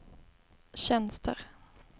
tjänster